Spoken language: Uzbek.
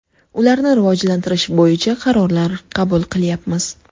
Ularni rivojlantirish bo‘yicha qarorlar qabul qilyapmiz.